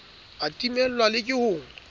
a timellwang le ke ho